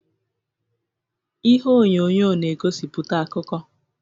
Ihe onyonyo na-egosiputa akụkọ.